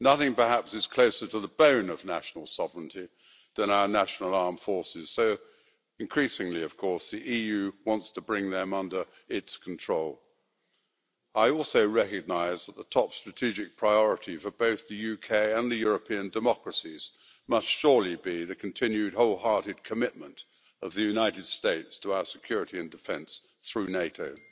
Nothing, perhaps, is closer to the bone of national sovereignty than our national armed forces so increasingly, of course, the EU wants to bring them under its control. I also recognise that the top strategic priority for both the UK and the European democracies must surely be the continued, wholehearted commitment of the United States to our security and defence through NATO.